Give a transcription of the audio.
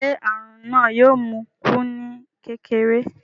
Ṣé àrùn náà yóò mú un kú ní kékeré?